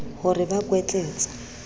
ho re ba re kwetletse